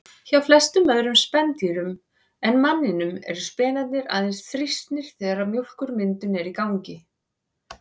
Hjá flestum öðrum spendýrum en manninum eru spenarnir aðeins þrýstnir þegar mjólkurmyndun er í gangi.